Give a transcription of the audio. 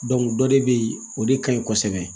dɔ de bɛ yen o de ka ɲi kosɛbɛ